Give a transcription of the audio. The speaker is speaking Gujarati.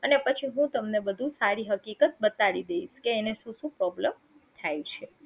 અને પછી હું તમને બધી સારી હકીકત બતાડી દઈશ કે એને શું શું problem થાય છે